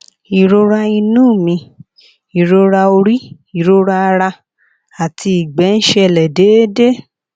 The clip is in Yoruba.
ìrora inú mi ìrora orí ìrora ara àti ìgbẹ ń ṣẹlẹ déédéé